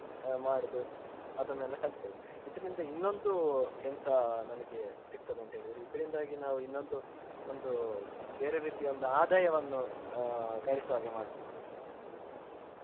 ಅ ಮಾಡುದು ಅದನೆಲ್ಲಾ ಕಲಿತೆವೆ ಇದರಿಂದ ಇನ್ನೊಂದು ಎಂತ ನಮಿಗೆ ಸಿಕ್ತದೇ ಅಂತ ಹೇಳಿದ್ರೆ ಇದರಿಂದಾಗಿ ನಾವು ಇನ್ನೊಂದು ಒಂದು ಬೇರೆ ರೀತಿಯ ಒಂದು ಆದಾಯವನ್ನು ಅ ಗಳಿಸುವಾಗೆ ಮಾಡ್ಬಹುದು.